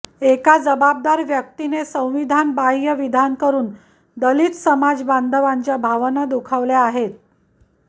एका जबाबदार व्यक्तीने संविधानबाहय़ विधान करून दलित समाजबांधवांच्या भावना दुखावल्या आहेत